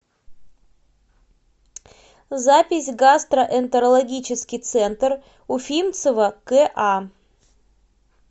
запись гастроэнтерологический центр уфимцева ка